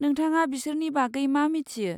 नोंथाङा बिसोरनि बागै मा मिथियो?